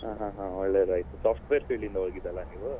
ಹಾ ಹಾ ಒಳ್ಳೆದಾಯ್ತು software field ಇಂದ ಹೋಗಿದ್ದಲ್ಲ ನೀವು.